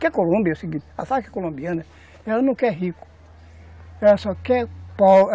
Que a Colômbia é o seguinte, a Farc Colombiana, ela não quer rico, ela só quer